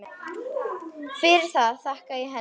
Fyrir það þakka ég henni.